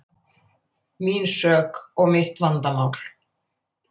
Mín sök og mitt vandamál.